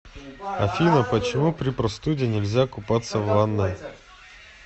афина почему при простуде нельзя купаться в ванной